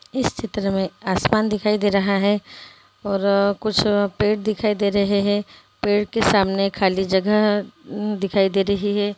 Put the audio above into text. इस चित्र में आसमान दिखाई दे रहा है और कुछ पेड़ दिखाई दे रहे हैं पेड़ के सामने खाली जगह है अम दिखाई दे रही है।